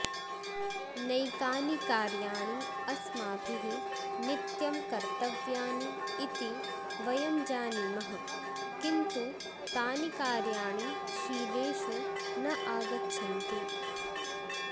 नैकानि कार्याणि अस्माभिः नित्यं कर्तव्यानि इति वयं जानीमः किन्तु तानि कार्याणि शीलेषु न आगच्छन्ति